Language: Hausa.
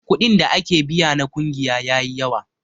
Kuɗin da ake biya na ƙungiya yayi yawa.